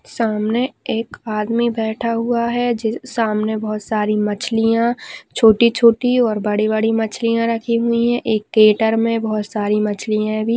सामने एक आदमी बैठा हुआ है जिस सामने बहुत सारी मछलिया छोटी छोटी और बड़ी बड़ी मछलिया रखी हुई है एक मे बहुत सारी मछलिया भी--